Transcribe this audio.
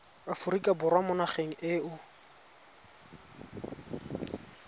aforika borwa mo nageng eo